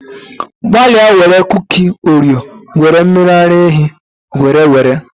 Gbalịa were kuki Oreo were mmiri ara ehi were were.